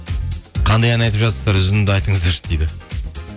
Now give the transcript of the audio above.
қандай ән айтып жатырсыздар үзінді айтыңыздаршы дейді